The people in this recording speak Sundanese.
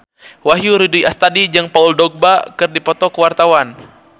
Wahyu Rudi Astadi jeung Paul Dogba keur dipoto ku wartawan